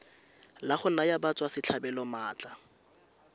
la go naya batswasetlhabelo maatla